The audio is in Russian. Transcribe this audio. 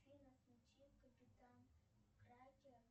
афина включи капитан кракен